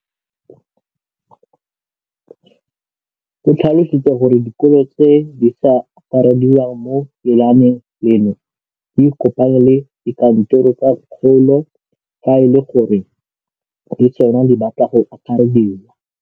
O tlhalositse gore dikolo tse di sa akarediwang mo lenaaneng leno di ikopanye le dikantoro tsa kgaolo fa e le gore le tsona di batla go akarediwa.